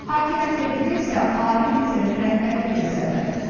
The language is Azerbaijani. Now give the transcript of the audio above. Hakimiyyət dedikdə isə ali liderin rəhbərliyi nəzərdə tutulur.